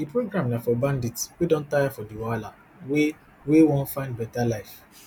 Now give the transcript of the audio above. di program na for bandits wey don tire for di wahala wey wey wan find beta life